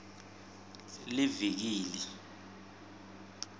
liviki